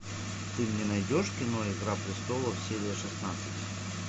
ты мне найдешь кино игра престолов серия шестнадцать